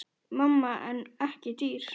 Mann en ekki dýr.